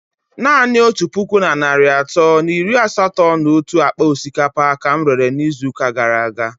Naanị otu puku na narị atọ na iri asatọ na otu akpa osikapa ka m rere n'izu ụka gara aga.